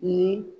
Ni